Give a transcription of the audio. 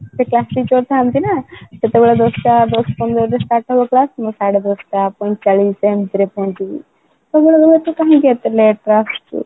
ସେ class teacher ଥାନ୍ତି ନା ସେତେବେଳେ ଦଶ ଟା ଦଶ ପନ୍ଦର ରେ start ହବ class ମୁଁ ସାଢେ ଦଶ ଟା ପୈଁଚାଳିଶି ଏମିତି ରେ ପହଞ୍ଚିବି ତମେ ଏତେ late ରେ କ'ଣ ଆସୁଛ ?